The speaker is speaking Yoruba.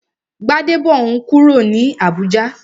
Gbadebo n kúrò ní Abùjá